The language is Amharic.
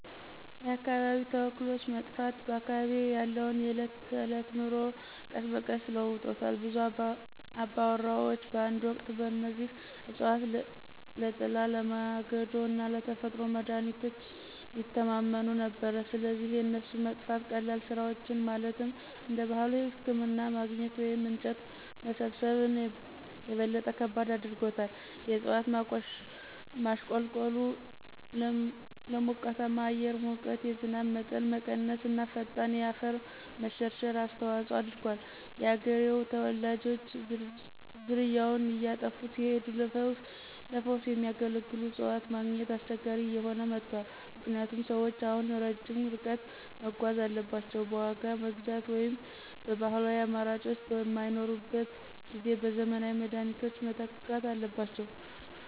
የአካባቢያዊ ተክሎች መጥፋት በአካባቢዬ ያለውን የዕለት ተዕለት ኑሮ ቀስ በቀስ ለውጦታል. ብዙ አባወራዎች በአንድ ወቅት በእነዚህ እፅዋት ለጥላ፣ ለማገዶ እና ለተፈጥሮ መድሀኒቶች ይተማመኑ ነበር፣ ስለዚህ የእነሱ መጥፋት ቀላል ስራዎችን ማለትም እንደ ባህላዊ ህክምና ማግኘት ወይም እንጨት መሰብሰብን - የበለጠ ከባድ አድርጎታል። የእጽዋት ማሽቆልቆሉ ለሞቃታማ የአየር ሙቀት፣ የዝናብ መጠን መቀነስ እና ፈጣን የአፈር መሸርሸር አስተዋጽኦ አድርጓል። የአገሬው ተወላጆች ዝርያዎች እየጠፉ ሲሄዱ ለፈውስ የሚያገለግሉ እፅዋትን ማግኘት አስቸጋሪ እየሆነ መጥቷል ምክንያቱም ሰዎች አሁን ረጅም ርቀት መጓዝ አለባቸው፣ በዋጋ መግዛት ወይም ባህላዊው አማራጮች በማይኖሩበት ጊዜ በዘመናዊ መድኃኒቶች መተካት አለባቸው።